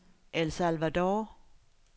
El Salvador